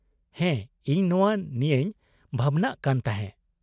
-ᱦᱮᱸ ᱤᱧ ᱱᱚᱶᱟ ᱱᱤᱭᱟᱹᱧ ᱵᱷᱟᱵᱽᱱᱟᱜ ᱠᱟᱱ ᱛᱟᱦᱮᱸ ᱾